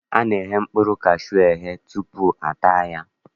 A na-eghe mkpụrụ kashuu eghe tutu a taa ya